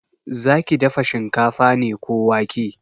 Zaki dafa shinkafa ne ko wake?